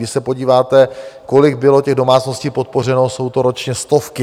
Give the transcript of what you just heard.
Když se podíváte, kolik bylo těch domácností podpořeno, jsou to ročně stovky.